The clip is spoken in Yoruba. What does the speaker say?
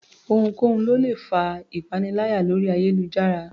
Ohunkóhun ló lè fa ìpaniláyà lórí ayélujára